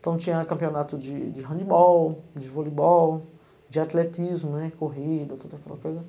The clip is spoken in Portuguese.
Então tinha campeonato de de handbol, de vôleibol, de atletismo, né, corrida, toda aquela coisa.